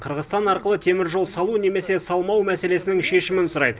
қырғызстан арқылы теміржол салу немесе салмау мәселесінің шешімін сұрайды